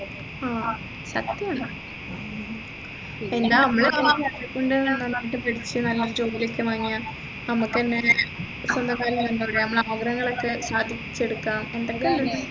ആ അത്രേ ഉള്ളു ജോലി ഒക്കെ വാങ്ങിയാൽ നമ്മുക്കെന്നെല്ലേ സ്വന്തം കാലിൽ നിന്ന് എന്താ പറയാ നമ്മളെ ആഗ്രഹങ്ങളൊക്കെ സാധിച്ചെടുക്കാം